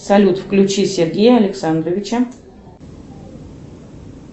салют включи сергея александровича